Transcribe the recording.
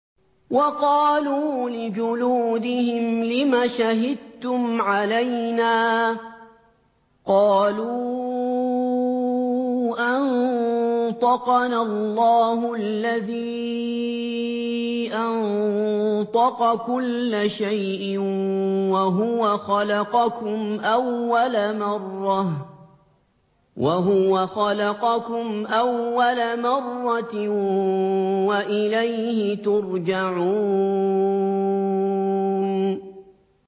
وَقَالُوا لِجُلُودِهِمْ لِمَ شَهِدتُّمْ عَلَيْنَا ۖ قَالُوا أَنطَقَنَا اللَّهُ الَّذِي أَنطَقَ كُلَّ شَيْءٍ وَهُوَ خَلَقَكُمْ أَوَّلَ مَرَّةٍ وَإِلَيْهِ تُرْجَعُونَ